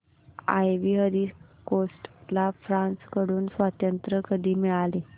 ivory Coast ला France कडून स्वातंत्र्य कधी मिळाले